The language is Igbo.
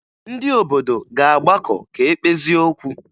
Ndị obodo ga-agbakọ ka e kpezie okwu